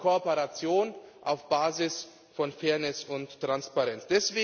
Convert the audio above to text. Wir wollen Kooperation auf Basis von Fairness und Transparenz.